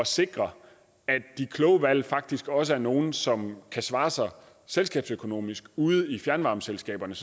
sikre at de kloge valg faktisk også er nogle som kan svare sig selskabsøkonomisk ude i fjernvarmeselskaberne